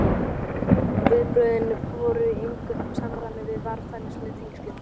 Og viðbrögðin voru í engu samræmi við varfærnisleg tengslin.